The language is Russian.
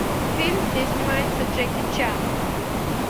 фильм где снимается джеки чан